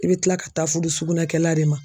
I bɛ tila ka taa furu sugunɛ kɛla de ma